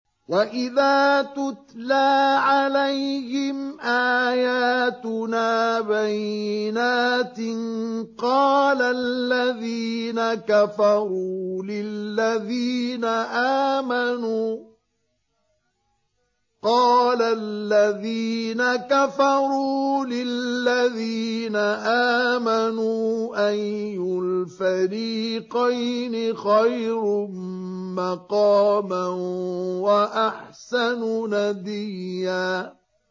وَإِذَا تُتْلَىٰ عَلَيْهِمْ آيَاتُنَا بَيِّنَاتٍ قَالَ الَّذِينَ كَفَرُوا لِلَّذِينَ آمَنُوا أَيُّ الْفَرِيقَيْنِ خَيْرٌ مَّقَامًا وَأَحْسَنُ نَدِيًّا